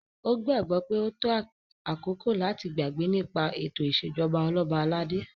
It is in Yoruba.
O gbagbọ pe o to akoko lati gbagbe nipa eto isejọba Oloba alade